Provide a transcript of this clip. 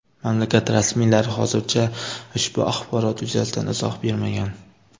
Mamlakat rasmiylari hozircha ushbu axborot yuzasidan izoh bermagan.